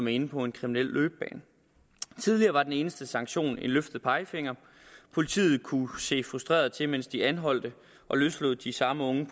inde på en kriminel løbebane tidligere var den eneste sanktion en løftet pegefinger politiet kunne se frustreret til mens de anholdte og løslod de samme unge